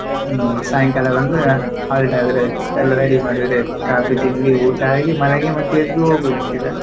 ಹ್ಮ್ ಸಾಯಂಕಾಲ ಬಂದು halt ಆದ್ರಾಯ್ತು ಎಲ್ಲ ready ಮಾಡಿದ್ರಾಯ್ತು ಕಾಫಿ ತಿಂಡಿ ಊಟ ಆಗಿ ಮಲಗಿ ಮತ್ತೆ ಎದ್ದು ಹೋಗುದೇ ಸೀದಾ.